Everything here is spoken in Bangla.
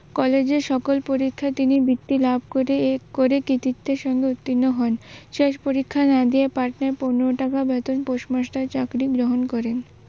কলেজে সকল পরীক্ষায় তিনি বৃত্তি লাভ করে কৃতিত্ত্বের সঙ্গে উত্তিন্ন হন। শেষ পরিক্ষা না দিয়ে পাটনায় পনের টাকা বেতন পোষ্ট মাষ্টারের চাকরি গ্রহণ করেন।